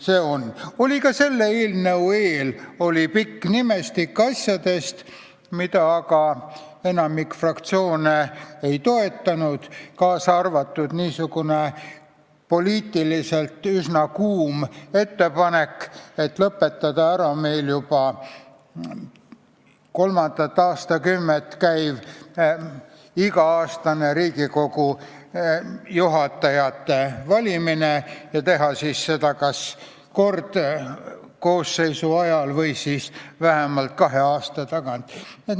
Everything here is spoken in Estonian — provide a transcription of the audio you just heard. Ka enne selle eelnõu valmimist oli pikk nimestik mitmesugustest asjadest, mida aga enamik fraktsioone ei toetanud, kaasa arvatud niisugune poliitiliselt üsna kuum ettepanek, et lõpetada ära meil juba kolmandat aastakümmet käiv iga-aastane Riigikogu juhatuse valimine ja teha seda kas kord koosseisu ajal või vähemalt kahe aasta tagant.